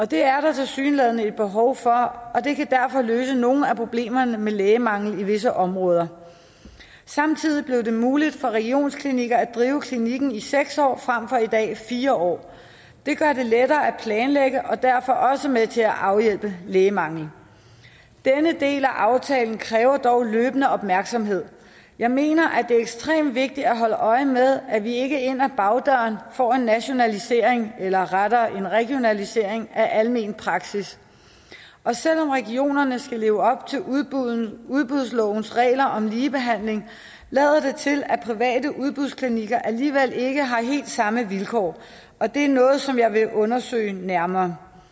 det er der tilsyneladende et behov for og det kan derfor løse nogle af problemerne med lægemangel i visse områder samtidig blev det muligt for regionsklinikker at drive klinik i seks år frem for i dag fire år det gør det lettere at planlægge og er derfor også med til at afhjælpe lægemanglen denne del af aftalen kræver dog en løbende opmærksomhed jeg mener at det er ekstremt vigtigt at holde øje med at vi ikke ind ad bagdøren får en nationalisering eller rettere en regionalisering af almen praksis selv om regionerne skal leve op til udbudslovens regler om ligebehandling lader det til at private udbudsklinikker alligevel ikke har helt samme vilkår og det er noget som jeg vil undersøge nærmere